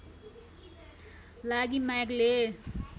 लागि म्यागले